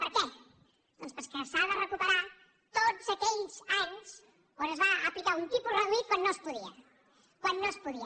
per què doncs perquè s’ha de recuperar tots aquells anys en què es va aplicar un tipus reduït quan no es podia quan no es podia